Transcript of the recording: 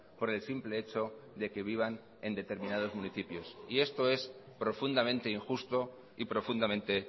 por el simple hecho de que vivan en determinados municipios y esto es profundamente injusto y profundamente